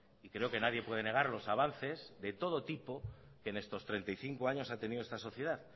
y creo que nadie puede negar los avances de todo tipo que en estos treinta y cinco años ha tenido esta sociedad